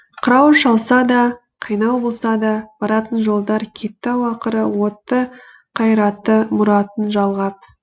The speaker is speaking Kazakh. қырау шалса да қайнау болса да баратын жолдар кетті ау ақыры отты қайраты мұратын жалғап